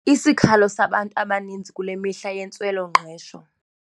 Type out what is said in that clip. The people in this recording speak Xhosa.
Isikhalo sabantu abaninzi kule mihla yintswelo-ngqesho.